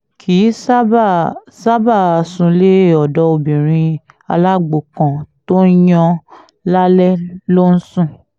kì í ṣáàbàá ṣáàbàá súnlé ọ̀dọ̀ obìnrin alágbó kan tó ń yan lálè ló ń sùn